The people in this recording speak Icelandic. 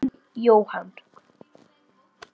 Þinn, Jóhann.